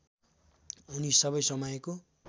उनी सबै समयको